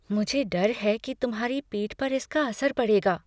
मुझे डर है कि तुम्हारी पीठ पर इसका असर पड़ेगा।